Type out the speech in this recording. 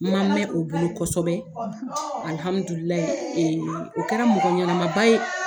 Ma mɛn o bolo kosɛbɛ, alihamudulilayi o kɛra mɔgɔ ɲɛnama ba ye.